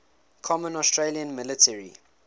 common australian military